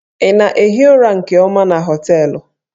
Ị na-ehi ụra nke ọma na hóteélụ̀?